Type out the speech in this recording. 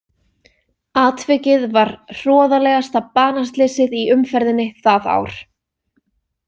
Atvikið var hroðalegasta banaslysið í umferðinni það ár.